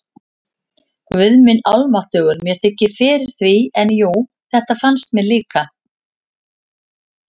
Guð minn almáttugur, mér þykir fyrir því, en jú, þetta fannst mér líka